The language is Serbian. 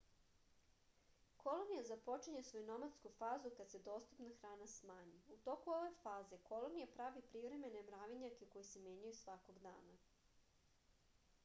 kolonija započinje svoju nomadsku fazu kad se dostupna hrana smanji u toku ove faze kolonija pravi privremene mravinjake koji se menjaju svakog dana